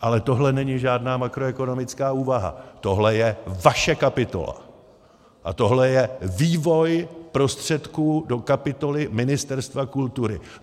Ale tohle není žádná makroekonomická úvaha, tohle je vaše kapitola a tohle je vývoj prostředků do kapitoly Ministerstva kultury.